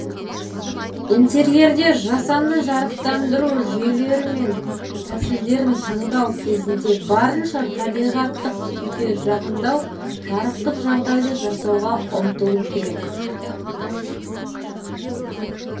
интерьерде жасанды жарықтандыру жүйелерімен тәсілдерін таңдау кезінде барынша табиғаттық күйге жақындау жарықтық жағдайды жасауға ұмтылу керек